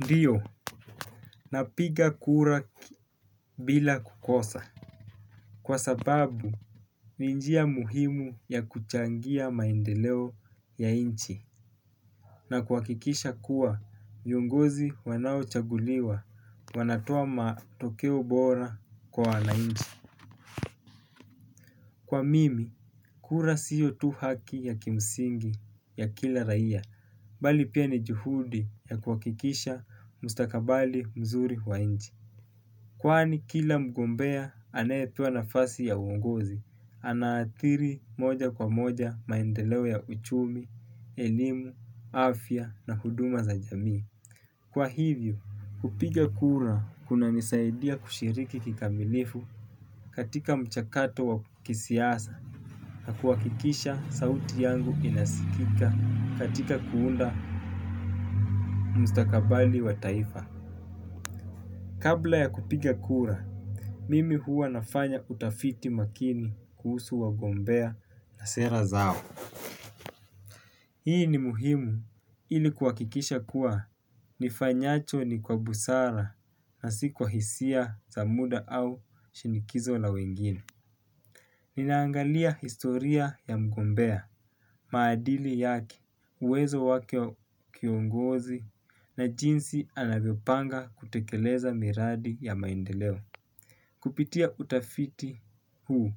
Ndiyo, napiga kura bila kukosa. Kwa sababu, ni njia muhimu ya kuchangia maendeleo ya inchi. Na kuhakikisha kuwa, viongozi wanaochaguliwa, wanatoa matokeo bora kwa wanainchi. Kwa mimi, kura siyo tu haki ya kimsingi ya kila raia, bali pia ni juhudi ya kuhakikisha mustakabali mzuri wa inchi. Kwani kila mgombea aneepua nafasi ya uongozi, anaathiri moja kwa moja maendeleo ya uchumi, elimu, afya na huduma za jamii. Kwa hivyo, kupiga kura kunanisaidia kushiriki kikamilifu katika mchakato wa kisiasa. Na kuakikisha sauti yangu inasikika katika kuunda mstakabali wa taifa. Kabla ya kupiga kura, mimi huwa nafanya utafiti makini kuhusu wagombea na sera zao. Hii ni muhimu ili kuhakikisha kuwa nifanyacho ni kwa busara na si kwahisia za muda au shinikizo la wengine. Ninaangalia historia ya mgombea. Maadili yake, uwezo wake wa kiongozi na jinsi anavyopanga kutekeleza miradi ya maendeleo. Kupitia utafiti huu,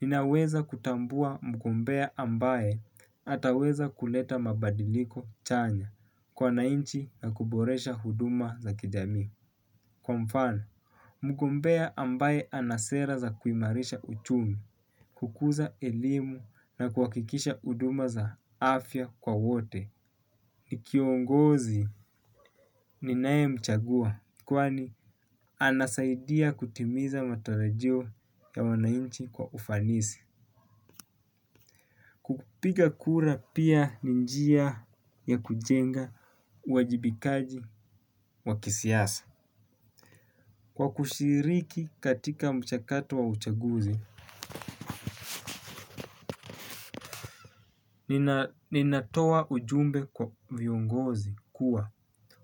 ninaweza kutambua mgombea ambaye ataweza kuleta mabadiliko chanya kwa wanainchi na kuboresha huduma za kijami. Kwa mfano, mgombea ambaye anasera za kuimarisha uchumi, kukuza elimu na kuhakikisha huduma za afya kwa wote. Ni kiongozi ninae mchagua kwani anasaidia kutimiza matarajio ya wanainchi kwa ufanisi. Kupiga kura pia ni njia ya kujenga uajibikaji wa kisiasa. Kwa kushiriki katika mchakato wa uchaguzi, ninatoa ujumbe kwa viongozi kuwa.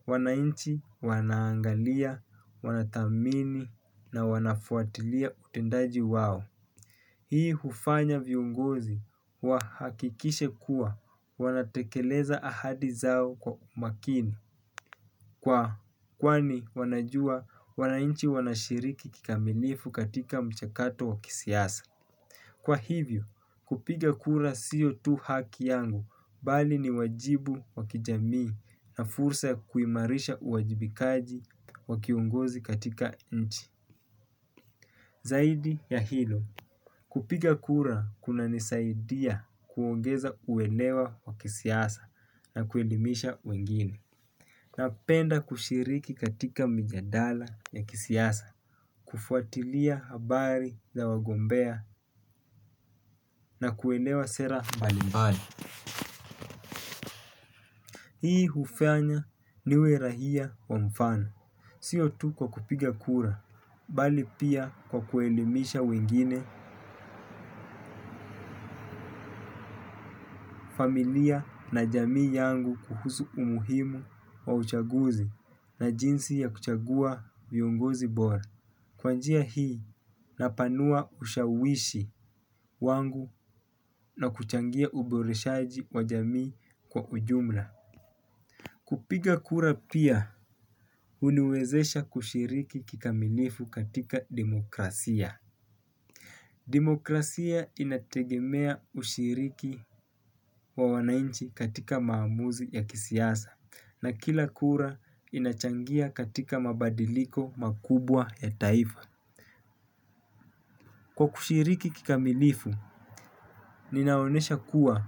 Wanainchi, wanaangalia, wanathamini na wanafuatilia utendaji wao. Hii hufanya viongozi wa hakikishe kuwa wanatekeleza ahadi zao kwa makini. Kwa kwani wanajua wanainchi wanashiriki kikamilifu katika mchakato wakisiasa. Kwa hivyo, kupiga kura siyo tu haki yangu bali ni wajibu wakijamii na fursa ya kuimarisha uwajibikaji wa kiongozi katika nchi. Zaidi ya hilo, kupiga kura kunanisaidia kuongeza kuelewa kwa kisiasa na kuelimisha wengine. Napenda kushiriki katika mijadala ya kisiasa, kufuatilia habari za wagombea na kuelewa sera mbalimbali. Hii hufanya niwe rahia wa mfano. Sio tu kwa kupiga kura, bali pia kwa kuelimisha wengine, familia na jamii yangu kuhusu umuhimu wa uchaguzi na jinsi ya kuchagua viongozi bora. Kwa njia hii napanua ushawishi wangu na kuchangia uboreshaji wa jamii kwa ujumla. Kupiga kura pia, huniwezesha kushiriki kikamilifu katika demokrasia. Demokrasia inategemea ushiriki wa wanainchi katika maamuzi ya kisiasa, na kila kura inachangia katika mabadiliko makubwa ya taifa. Kwa kushiriki kikamilifu, ninaonesha kuwa,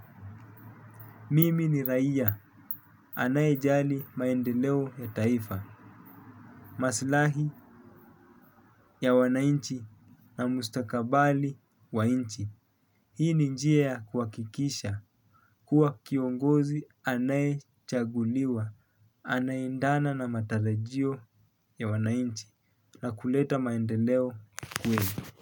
mimi ni raia, anaye jali maendeleo ya taifa, maslahi ya wanainchi na mustakabali wa inchi. Hii ni njia ya kuhakikisha, kuwa kiongozi anayechaguliwa, anaendana na matarajio ya wanainchi, na kuleta maendeleo kwenyu.